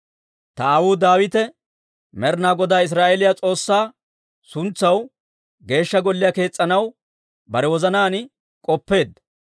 «Ta aawuu Daawite Med'inaa Godaa Israa'eeliyaa S'oossaa suntsaw Geeshsha Golliyaa kees's'anaw bare wozanaan k'oppeedda.